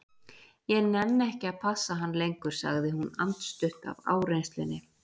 Ég nenni ekki að passa hann lengur, sagði hún andstutt af áreynslunni.